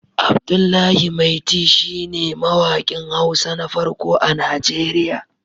Abdullahi Maiti shi ne mawaƙin Hausa na farko a Nigeriya